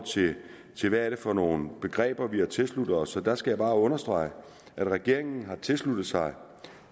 til hvad det er for nogle begreber vi har tilsluttet os og der skal jeg bare understrege at regeringen har tilsluttet sig